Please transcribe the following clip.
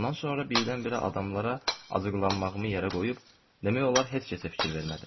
Bundan sonra birdən-birə adamlara acıqlanmağımı yerə qoyub, demək olar heç kəsə fikir vermədim.